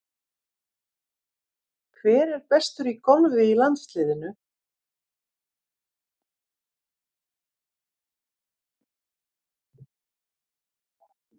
Hver er bestur í golfi í landsliðinu?